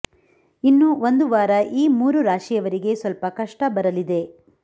ಇನ್ನು ಒಂದು ವಾರ ಈ ಮೂರು ರಾಶಿಯವರಿಗೆ ಸ್ವಲ್ಪ ಕಷ್ಟ ಬರಲಿದೆ